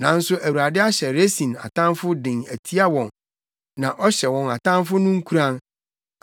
Nanso Awurade ahyɛ Resin atamfo den atia wɔn, na ɔhyɛ wɔn atamfo no nkuran.